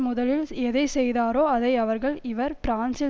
முதலில் எதை செய்தாரோ அதை அவர்கள் இவர் பிரான்சில்